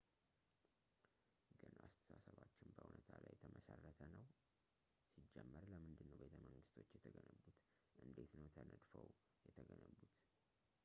ግን አስተሳሰባችን በዕውነታ ላይ የተመሰረተ ነው ሲጀመር ለምንድን ነው ቤተመንግስቶች የተገነቡት እንዴት ነው ተነድፈው የተገነቡት